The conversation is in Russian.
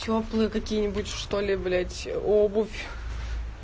тёплые какие-нибудь что ли блять обувь